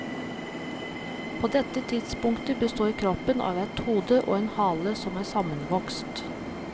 På dette tidspunktet består kroppen av et hode og en hale som er sammenvokst.